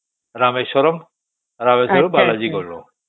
ରାମେଶ୍ୱରମ ରାମେଶ୍ୱରମ ରୁ ବାଲାଜୀ ଗଲୁ